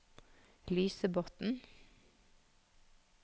Lysebotn